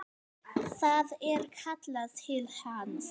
Það er kallað til hans.